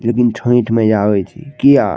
एक दिन छैएठ मइया होय छै किया --